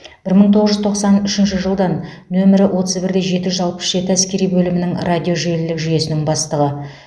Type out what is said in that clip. бір мың тоғыз жүз тоқсан үшінші жылдан нөмір отыз бір де жеті жүз алпыс жеті әскери бөлімнің радожелілік жүйесінің бастығы